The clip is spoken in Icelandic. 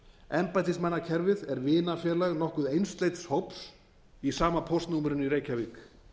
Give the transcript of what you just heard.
embættismannakerfið er vinafélag nokkuð einsleits hóps í sama póstnúmerinu í reykjavík